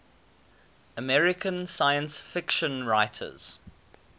american science fiction writers